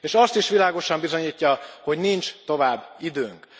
És azt is világosan bizonyítja, hogy nincs tovább időnk.